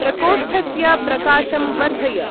प्रकोष्ठस्य प्रकाशं वर्धय।